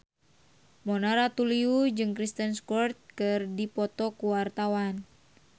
Mona Ratuliu jeung Kristen Stewart keur dipoto ku wartawan